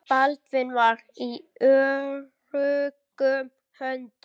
Baldvin var í öruggum höndum.